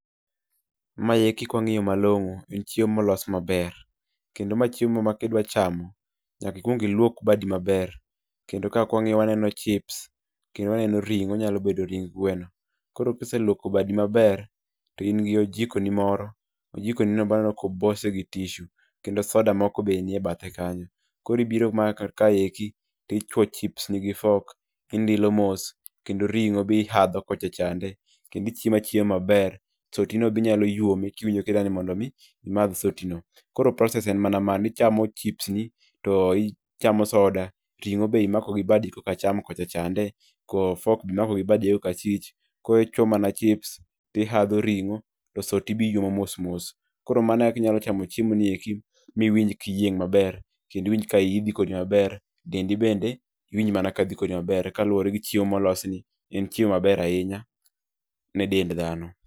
Maeki ka wang'iyo malong'o en chiemo molos maber, kendo mae chiemo ma kidwa camo nyaka ikuog iluok badi maber. Kendo kae kwang'iyo waneno chips kendo waneno ring'o, onyalo bedo ring gweno. Koro ka iseluoko badi maber to in gi ojikoni moro ojikonino be aneno ka obase gi tissue kendo soda moko be aneno nie bathe kanyo. Koro biro mana kaendii to ichuo chipsni gi fok, indilo moe kendo ring'o be ihadho kocha chande kendo ichiemo achiema maber. Soti no be inyalo yuome kiwijo kidwani mond mi imadh sotino. Koro process en mana mano, ichamo chipsni to ichamo soda, ring'o be imako gi badi kokacham kocha chande, ko fok be imako gi badi koka achich, koro ichuoyo mana chips to ihadho ring'o, to soti be iyuomo mos mos. Koro mano ekaka inyalo chamo chiemo gi eki miwinj ka iyieng' maber kendo iwinj ka iyi dhi kodi maber dendi bende iwinj mana kadhi kodi maber kaluwore gi chiemo molosni, en chiemo maber ahinya ne dend dhano.